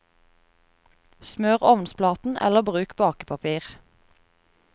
Smør ovnsplaten, eller bruk bakepapir.